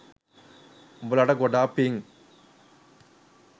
උඹලට ගොඩාක් පින්.